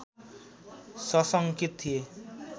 सशङ्कित थिए